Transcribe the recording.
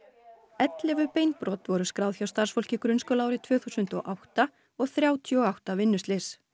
ellefu beinbrot voru skráð hjá starfsfólki grunnskóla árið tvö þúsund og átta og þrjátíu og átta vinnuslys